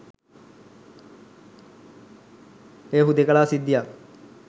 එය හුදෙකලා සිද්ධියක්